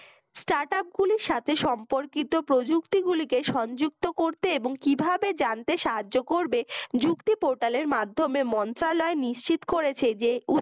startup গুলির সাথে সম্পর্কিত প্রযুক্তিগুলি কে সংযুক্ত করতে এবং কিভাবে জানতে সাহায্য করবে যুক্তি potal এর মাধ্যেমে মন্ত্রালয় নিশ্চিত করেছে যে